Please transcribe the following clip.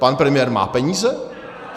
Pan premiér má peníze?